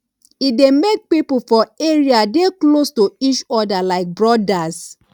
e dey make pipo for area dey close to each other like brodas